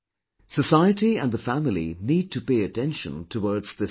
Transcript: Society and the family need to pay attention towards this crisis